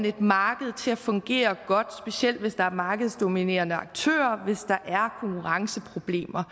et marked til at fungere godt specielt hvis der er markedsdominerende aktører hvis der er konkurrenceproblemer